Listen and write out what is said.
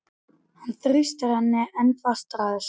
Hann þrýstir henni enn fastar að sér.